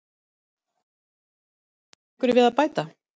Hefurðu einhverju við að bæta?